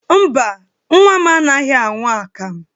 Mba, nnwa m anaghị aṅụ akamụ.